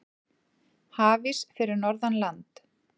Hafís fyrir norðan land